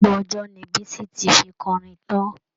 Gbogbo ọjọ́ ni Bisi ti fi kọrin tán'